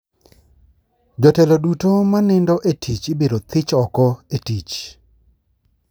Jotelo duto manindo e tich ibiro thich oko e tich